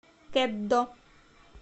кеддо